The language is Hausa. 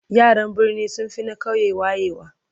yaran birni sunfi na ƙauye wayewa